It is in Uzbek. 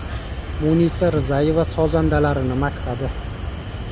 Munisa Rizayeva sozandalarini maqtadi.